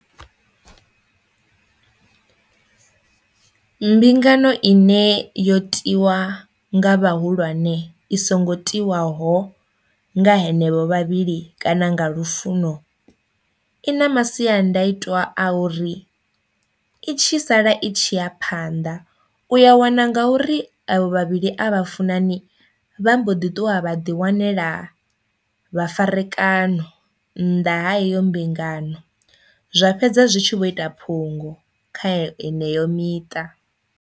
Mbingano ine yo tiwa nga vhahulwane i songo tiwaho nga henevho vhavhili kana nga lufuno i na masiandaitwa a uri i tshi sala i tshi ya phanḓa u ya wana ngauri evho vhavhili a vha funani vha mbo ḓi ṱuwa vha ḓi wanela vhafarekana nnḓa ha iyo mbingano zwa fhedza zwi tshi vho ita phungo kha eneyo miṱa.